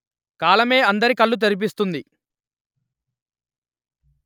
కాలమే అందరి కళ్ళూ తెరిపిస్తుంది